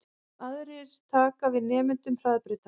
Aðrir taki við nemendum Hraðbrautar